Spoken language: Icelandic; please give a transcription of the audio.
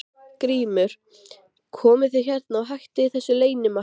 GRÍMUR: Komið þið hérna og hættið þessu leynimakki.